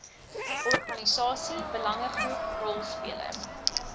organisasie belangegroep rolspeler